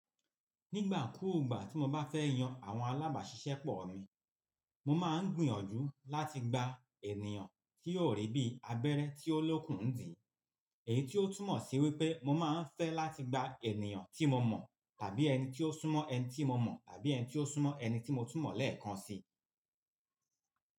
Nígbà kùgbà tí mo bá fẹ́ yan àwọn alábàáṣiṣẹ́ pọ̀ ni, mo máa ń gbìyànjú láti gba ènìyàn tí yóò rí bí abẹ́rẹ́ tí ó lókun dí. Èyí tí ó túmọ̀ sí wípé mo máa ń fẹ́ láti gba ènìyàn tí mo mọ̀ tàbí ẹni tí ó súnmọ́ ẹni tí mo mọ̀ tàbí ẹni tí ó súnmọ́ ẹni tí mo túmọ̀ lẹ́ẹ̀kan si.